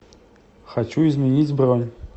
хочу изменить бронь